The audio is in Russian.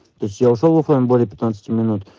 то есть я ушёл в фм более пятнадцати минут